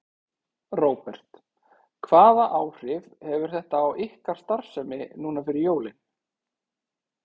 Róbert: Hvaða áhrif hefur þetta á ykkar starfsemi núna fyrir jólin?